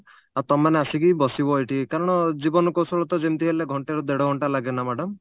ଆଉ ତମେମାନେ ଆସିକି ବସିବ ଏଇଠି କାରଣ ଜୀବନ କୌଶଳ ତ ଯେମିତି ହେଲେ ଘଣ୍ଟେ ରୁ ଦେଢଘଣ୍ଟା ଲାଗେ ନା madam